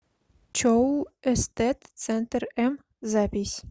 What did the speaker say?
чоу эстет центр м запись